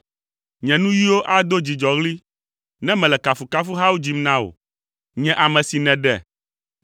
Nye nuyiwo ado dzidzɔɣli, ne mele kafukafuhawo dzim na wò, nye ame si nèɖe.